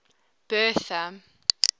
bertha